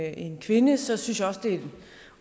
en kvinde synes jeg også det er en